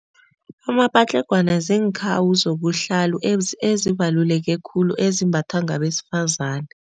Amapatlagwana ziinkhawu zobuhlalu ezibaluleke khulu ezimbathwa ngabesifazani.